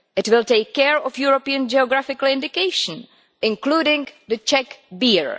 It will take care of European geographical indications, including Czech beer.